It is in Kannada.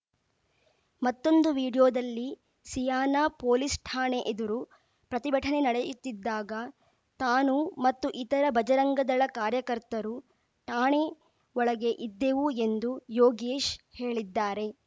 ಮತ್ತೊಂದು ವಿಡಿಯೋದಲ್ಲಿ ಸಿಯಾನಾ ಪೊಲೀಸ್‌ ಠಾಣೆ ಎದುರು ಪ್ರತಿಭಟನೆ ನಡೆಯುತ್ತಿದ್ದಾಗ ತಾನು ಮತ್ತು ಇತರ ಬಜರಂಗದಳ ಕಾರ್ಯಕರ್ತರು ಠಾಣೆ ಒಳಗೇ ಇದ್ದೆವು ಎಂದು ಯೋಗೇಶ್‌ ಹೇಳಿದ್ದಾರೆ